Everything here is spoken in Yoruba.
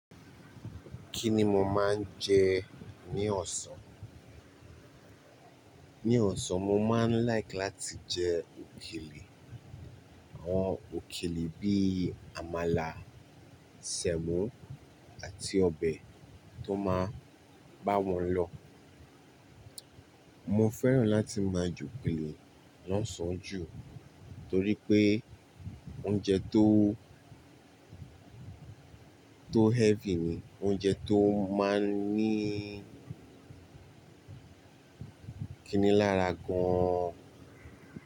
Kí ni mo máa ń jẹ ní ọ̀sán? Ní ọ̀sán, mo máa ń like láti jẹ òkèlè, àwọn òkèlè bíi àmàlà, sẹ̀mọ́ àti ọbẹ̀ tó máa bá wọn lọ. Mo fẹ́ràn láti máa jẹ òkèlè lọ́sàn án jù torí pé oúnjẹ tó, tó heavy ni, oúnjẹ tó máa ń ní kìní lára gan.